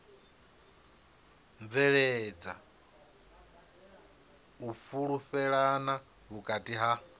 bveledza u fhulufhelana vhukati ha